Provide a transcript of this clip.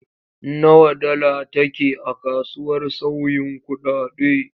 Nawa dala take a kasuwar sauyin kuɗaɗe?